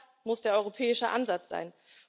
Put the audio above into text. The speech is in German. Das muss der europäische Ansatz sein.